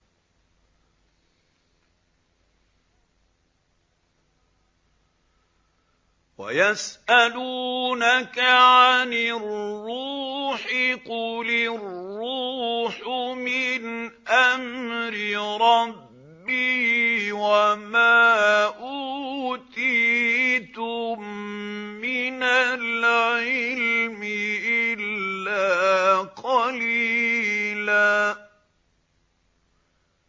وَيَسْأَلُونَكَ عَنِ الرُّوحِ ۖ قُلِ الرُّوحُ مِنْ أَمْرِ رَبِّي وَمَا أُوتِيتُم مِّنَ الْعِلْمِ إِلَّا قَلِيلًا